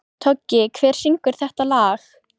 Toggi, hver syngur þetta lag?